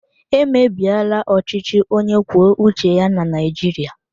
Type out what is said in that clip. Emebiela ọchịchị onye kwuo uche ya na Naijiria.